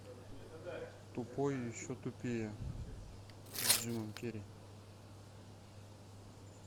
тупой и еще тупее с джимом керри